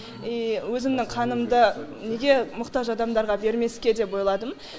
и өзімнің қанымды неге мұқтаж адамдарға бермеске деп ойладым